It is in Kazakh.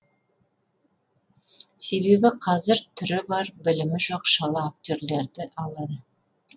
себебі қазір түрі бар білімі жоқ шала актерлерді алады